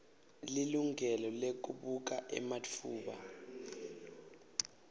lilungelo lekubuka ematfuba